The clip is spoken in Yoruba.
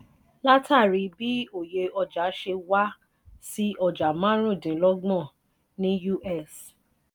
látàrí bí òye ọjà ṣe wá sí ọjà marun dín lọgbọ́n ní us.